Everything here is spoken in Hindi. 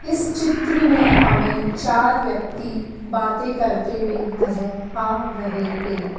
इस चित्र में हमें चार व्यक्ति बातें करते हुए नजर आ रहे हैं।